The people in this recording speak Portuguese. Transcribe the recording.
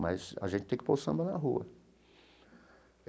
Mas a gente tem que pôr o samba na rua.